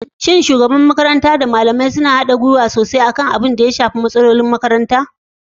Shin shugaban makaranta da malamai suna haɗin gwiwa sosai don magance matsalolin da suka shafi makarantar?